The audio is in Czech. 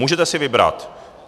Můžete si vybrat.